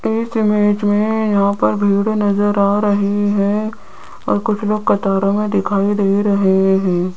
इस इमेज में यहां पे भीड़ नजर आ रही है और कुछ लोग कतारों में दिखाई दे रहे हैं।